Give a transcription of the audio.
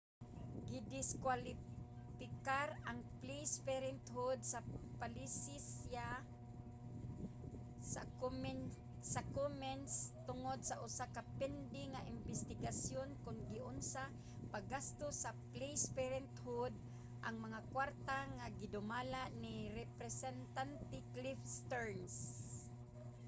gidiskuwalipikar ang placed parenthood sa palisiya sa komens tungod sa usa ka pending nga imbestigasyon kon giunsa paggasto sa placed parenthood ang mga kwarta nga ginadumala ni representante cliff stearns